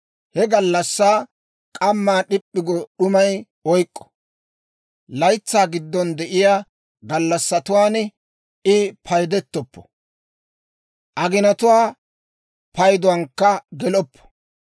He gallassaa k'ammaa d'ip'p'i go d'umay oyk'k'o. Laytsaa giddon de'iyaa gallassatuwaan I paydettoppo; aginatuwaa payduwaankka geloppo.